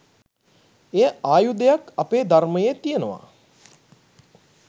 එය ආයුධයක් අපේ ධර්මයේ තියෙනවා